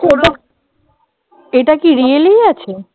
এটা কি really আছে?